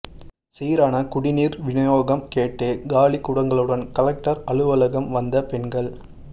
சீரான குடிநீர் விநியோகம் கேட்டு காலி குடங்களுடன் கலெக்டர் அலுவலகம் வந்த பெண்கள்